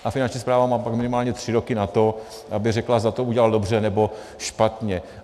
A Finanční správa má pak minimálně tři roky na to, aby řekla, zda to udělal dobře, nebo špatně.